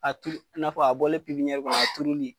A turu, i n'a fɔ a bɔlen pipiniyɛri kɔnɔ a turuli.